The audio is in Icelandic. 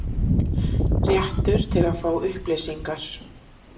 Réttur til að fá upplýsingar.